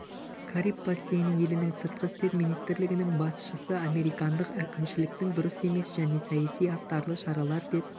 кариб бассейні елінің сыртқы істер министрлігінің басшысы американдық әкімшіліктің дұрыс емес және саяси астарлы шаралар деп